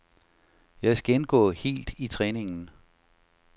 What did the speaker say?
Jeg skal indgå helt i træningen.